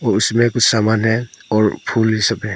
और इसमें कुछ सामान है और फूल इ सब है।